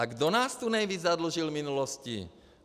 A kdo nás tu nejvíc zadlužil v minulosti?